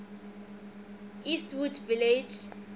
westwood village memorial